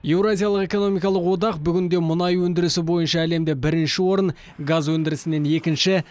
еуразиялық экономикалық одақ бүгінде мұнай өнідірісі бойынша әлемде бірінші орын газ өндірісінен екінші